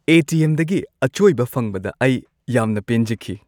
ꯑꯦ. T. M. ꯗꯒꯤ ꯑꯆꯣꯏꯕ ꯐꯪꯕꯗ ꯑꯩ ꯌꯥꯝꯅ ꯄꯦꯟꯖꯈꯤ ꯫